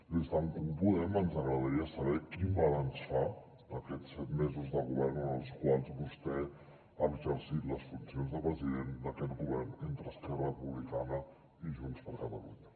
des d’en comú podem ens agradaria saber quin balanç fa d’aquests set mesos de govern en els quals vostè ha exercit les funcions de president d’aquest govern entre esquerra republicana i junts per catalunya